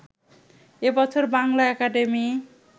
এ বছর বাংলা একাডেমি